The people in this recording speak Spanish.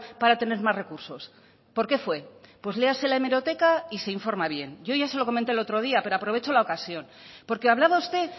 para tener más recursos por qué fue pues léase la hemeroteca y se informa bien yo ya se lo comenté el otro día pero aprovecho la ocasión porque hablaba usted